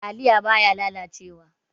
Taliya baya lalace wa.